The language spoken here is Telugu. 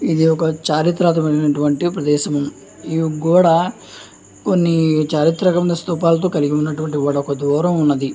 ఇది ఒక చారిత్మకతమైన ప్రదేశం ఈ గోడ కొన్ని చాత్రాత్మకమైన ప్రదేశాలతో కలిగిన స్థూపంలా ఉన్నది.